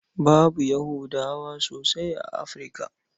Babu Yahudawa sosai a Afirka.